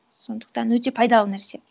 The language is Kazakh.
сондықтан өте пайдалы нәрсе